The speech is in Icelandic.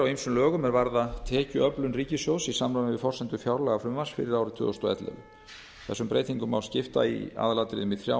ýmsum lögum er varða tekjuöflun ríkissjóðs í samræmi við forsendur fjárlagafrumvarps fyrir árið tvö þúsund og ellefu þessum breytingum má skipta í aðalatriðum í þrjá